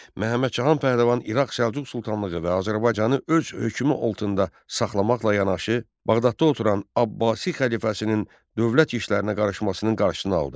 Məhəmməd Cahan Pəhləvan İraq Səlcuq Sultanlığı və Azərbaycanı öz hökmü altında saxlamaqla yanaşı, Bağdadda oturan Abbasi xəlifəsinin dövlət işlərinə qarışmasının qarşısını aldı.